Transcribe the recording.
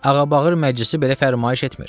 Ağabağır məclisi belə fərman etmir.